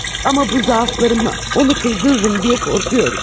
Amma bu zəifliyimi onu qızdıraram deyə qorxuram.